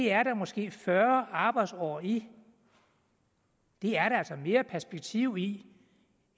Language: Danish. er der måske fyrre arbejdsår i det er der altså mere perspektiv i